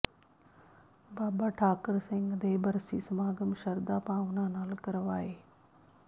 ਬਾਬਾ ਠਾਕਰ ਸਿੰਘ ਦੇ ਬਰਸੀ ਸਮਾਗਮ ਸ਼ਰਧਾ ਭਾਵਨਾ ਨਾਲ ਕਰਵਾਏ